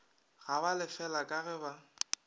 ba galefela ka ge ba